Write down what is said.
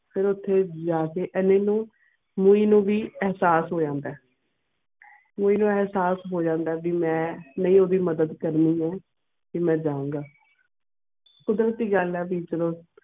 ਫਿਰ ਓਥੇ ਜਾ ਕੇ ਐਨਾ ਨੂੰ ਮੋਈ ਨੂੰ ਵੀ ਇਹਸਾਸ ਹੋਇਆ ਹੋਂਦ ਮੋਈ ਨੂੰ ਵੀ ਇਹਸਾਸ ਹੋ ਜਾਂਦਾ ਵੀ ਮੈਂ ਨੀ ਓਢਿ ਮਦਦ ਕਰਨੀ ਹੈ ਤੇ ਮੈਂ ਜਾ ਗਏ ਕੁਦਰਤੀ ਗੱਲ ਵੀ ਇਚਾਰੁ.